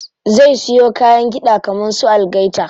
Zai siyo kayan kiɗa kaman su algaita.